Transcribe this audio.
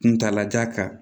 Kuntalajan kan